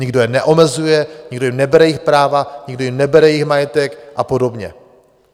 Nikdo je neomezuje, nikdo jim nebere jejich práva, nikdo jim nebere jejich majetek a podobně.